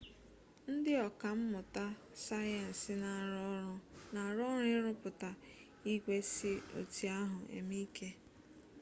ndị ọka mmụta sayensị na-arụ ọrụ ịrụpụta igwe si oti ahụ eme ike